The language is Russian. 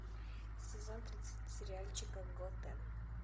сезон тридцать сериальчика готэм